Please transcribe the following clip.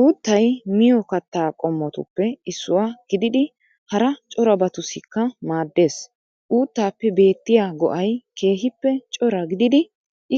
Uuttay miyo kattaa qommotuppe issuwa gididi hara corabatussikka maaddees. Uuttaappe beettiya go'ay keehippe cora gididi